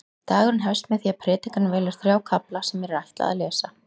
Dagurinn hefst með því að predikarinn velur þrjá kafla sem mér er ætlað að lesa.